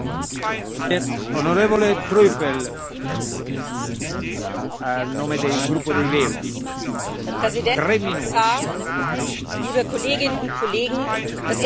Herr Präsident, Herr Kommissar, liebe Kolleginnen und Kollegen! Das erste, was ich betonen möchte, ist, dass die europäische Kulturpolitik von einem demokratischen Kulturbegriff ausgeht.